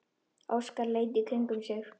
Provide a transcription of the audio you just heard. Óskar leit í kringum sig.